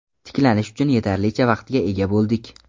Tiklanish uchun yetarlicha vaqtga ega bo‘ldik”.